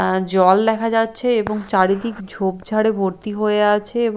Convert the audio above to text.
আ জল দেখা যাচ্ছে এবং চারিদিক ঝোপঝাড়ে ভর্তি হয়ে আছে এবং--